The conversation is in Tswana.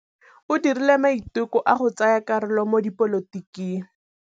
O dirile maitekô a go tsaya karolo mo dipolotiking.